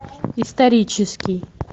исторический